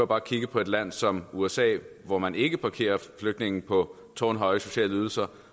bare kigge på et land som usa hvor man ikke parkerer flygtninge på tårnhøje sociale ydelser